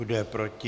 Kdo je proti?